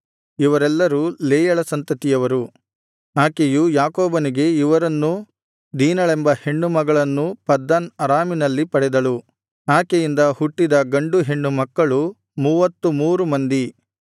ಇವರೆಲ್ಲರು ಲೇಯಳ ಸಂತತಿಯವರು ಆಕೆಯು ಯಾಕೋಬನಿಗೆ ಇವರನ್ನೂ ದೀನಳೆಂಬ ಹೆಣ್ಣು ಮಗಳನ್ನೂ ಪದ್ದನ್ ಅರಾಮಿನಲ್ಲಿ ಪಡೆದಳು ಆಕೆಯಿಂದ ಹುಟ್ಟಿದ ಗಂಡು ಹೆಣ್ಣು ಮಕ್ಕಳು ಮೂವತ್ತು ಮೂರು ಮಂದಿ